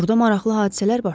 Burda maraqlı hadisələr baş verir.